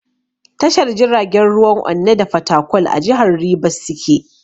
Tashar jiragen ruwan Onne da Fatakwal a jihar Ribas suke.